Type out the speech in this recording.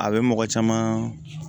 A bɛ mɔgɔ caman